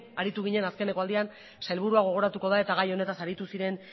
aritu ginen azkeneko aldian sailburua gogoratuko da eta gai honetaz aritu ziren